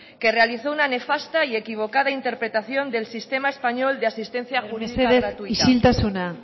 que realizó una nefasta y equivocada interpretación del sistema español de asistencia jurídica gratuita mesedez isiltasuna